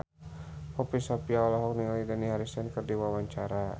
Poppy Sovia olohok ningali Dani Harrison keur diwawancara